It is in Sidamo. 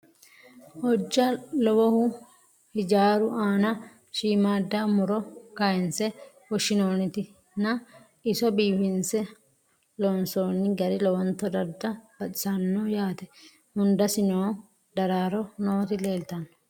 Hojja lowohu hijjaru aanna shiimmada muro kaayinse fushshinnoonniti nna iso biiffinsse loonsoonni gari lowontta adda baxxissanno yaatte. Hundassi nno daaroro nootti leelittanno.